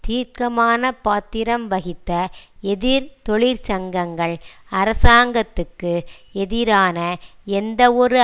தீர்க்கமான பாத்திரம் வகித்த எதிர் தொழிற்சங்கங்கள் அரசாங்கத்துக்கு எதிரான எந்தவொரு